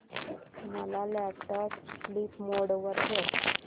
माझा laptop sleep mode वर ठेव